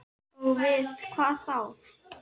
Og við hvað þá?